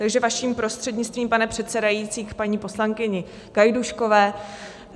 Takže vaším prostřednictvím, pane předsedající, k paní poslankyni Gajdůškové.